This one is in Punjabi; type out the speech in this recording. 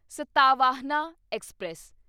ਸਤਾਵਾਹਨਾ ਐਕਸਪ੍ਰੈਸ